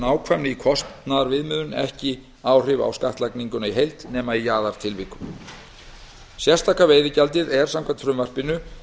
nákvæmni í kostnaðarviðmiðun ekki áhrif á skattlagninguna í heild nema í jaðartilvikum sérstaka veiðigjaldið er samkvæmt frumvarpinu